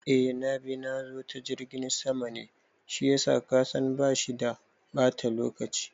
Eh nabi nazo ta jirgin sama ne shiyasa kasan bashi da bata lokaci